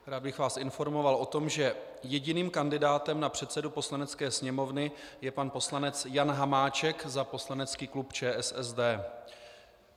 Rád bych vás informoval o tom, že jediným kandidátem na předsedu Poslanecké sněmovny je pan poslanec Jan Hamáček za poslanecký klub ČSSD.